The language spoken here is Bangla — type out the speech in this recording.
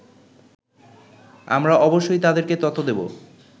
আমরা অবশ্যই তাদেরকে তথ্য দেবো